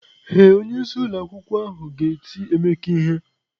Ee, onyeisi ụlọ akwukwo ahụ ga ti Emeka ihe.